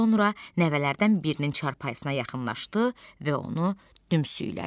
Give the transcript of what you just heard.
Sonra nəvələrdən birinin çarpayısına yaxınlaşdı və onu dümsüklədi.